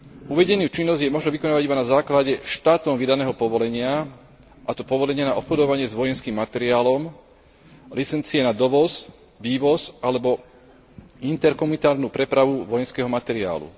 Uvedenú činnosť je možné vykonávať iba na základe štátom vydaného povolenia, a to povolenia na obchodovanie s vojenským materiálom, licencie na dovoz, vývoz alebo interkomunitárnu prepravu vojenského materiálu.